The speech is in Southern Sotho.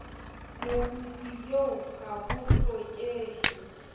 mokopi eo ha ho hlokehe